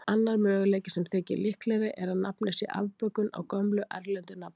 Annar möguleiki, sem þykir líklegri, er að nafnið sé afbökun á gömlu erlendu nafni.